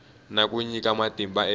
na ku nyika matimba eka